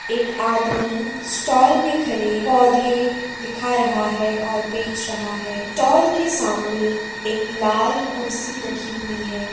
एक आदमी स्टॉल में खड़े पौधे दिखा रहा है और बेच रहा है। स्टॉल के सामने एक लाल कुर्सी रखी हुई है।